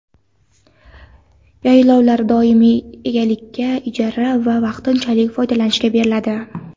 Yaylovlar doimiy egalikka, ijara va vaqtinchalik foydalanishga beriladi.